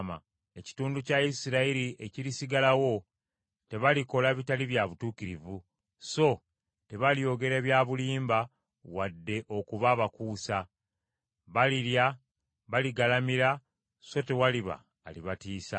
Ekitundu kya Isirayiri ekirisigalawo tebalikola bitali bya butuukirivu so tebalyogera bya bulimba wadde okuba abakuusa. Balirya, baligalamira, so tewaliba alibatiisa.”